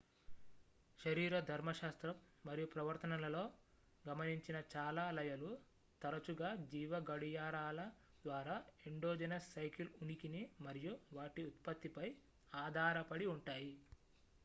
శరీరధర్మశాస్త్రం మరియు ప్రవర్తనలో గమనించిన చాలా లయలు తరచుగా జీవ గడియారాల ద్వారా ఎండోజెనస్ సైకిల్ ఉనికిని మరియు వాటి ఉత్పత్తిపై ఆధారపడి ఉంటాయి